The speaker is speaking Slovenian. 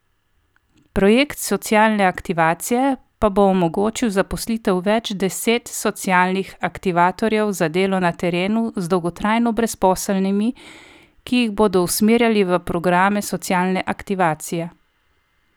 Projekt socialne aktivacije pa bo omogočil zaposlitev več deset socialnih aktivatorjev za delo na terenu z dolgotrajno brezposelnimi, ki jih bodo usmerjali v programe socialne aktivacije.